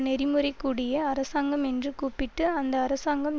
நெறிமுறைகூடிய அரசாங்கம் என்று கூப்பிட்டு அந்த அரசாங்கம்